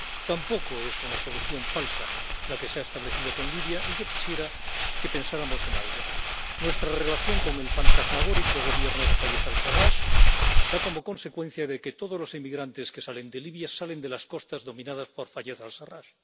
Tampoco es una solución falsa la que se ha establecido con Libia, y yo quisiera que pensáramos en algo nuestra relación con el fantasmagórico Gobierno de Fayez al Sarrach da como consecuencia que todos los inmigrantes que salen de Libia salen de las costas dominadas por Fayez al Sarrach.